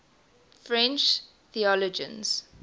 french theologians